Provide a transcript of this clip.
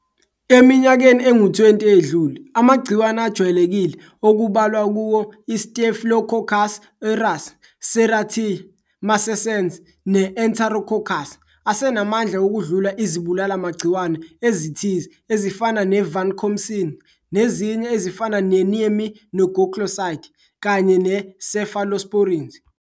Eminyakeni engu-20 eyedlule amagciwane ajwayelekile okubalwa kuwo i-Staphylococcus aureus, Serratia marcescens ne-Enterococcus, asenamandla ukudlula izibulala magciwane ezithize ezifana ne-vancomycin nezinye ezifana neaminoglycosides kanye ne-cephalosporins.